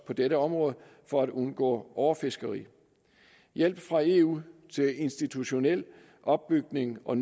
på dette område for at undgå overfiskeri hjælp fra eu til institutionel opbygning og